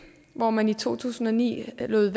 hvor man i to tusind og ni lod